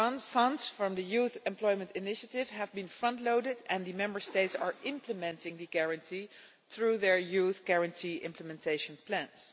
Funds from the Youth Employment Initiative have been front-loaded and the Member States are implementing the Guarantee through their Youth Guarantee implementation plans.